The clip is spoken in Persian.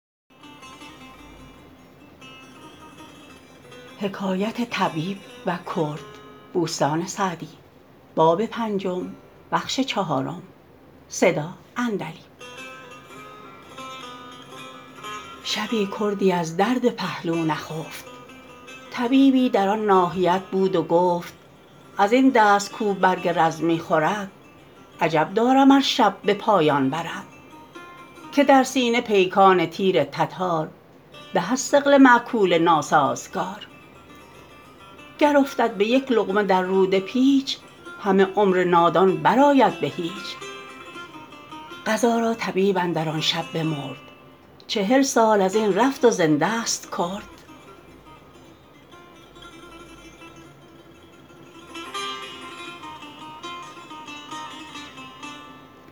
شبی کردی از درد پهلو نخفت طبیبی در آن ناحیت بود و گفت از این دست کاو برگ رز می خورد عجب دارم ار شب به پایان برد که در سینه پیکان تیر تتار به از ثقل مأکول ناسازگار گر افتد به یک لقمه در روده پیچ همه عمر نادان بر آید به هیچ قضا را طبیب اندر آن شب بمرد چهل سال از این رفت و زنده ست کرد